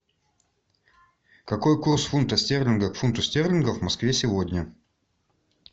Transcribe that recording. какой курс фунта стерлингов к фунту стерлингов в москве сегодня